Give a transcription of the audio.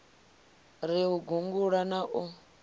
ri u gungula na u